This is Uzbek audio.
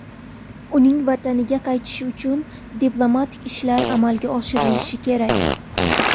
Uning vataniga qaytishi uchun diplomatik ishlar amalga oshirilishi kerak.